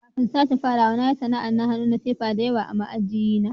Kafin sake farawa, na yi sana'an hannu na fefa da yawa ma aji na.